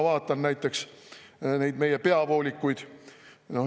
Vaatame näiteks meie peavoolikuid.